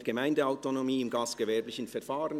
Mehr Gemeindeautonomie bei gastgewerblichen Verfahren».